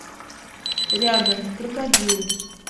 рядом крокодил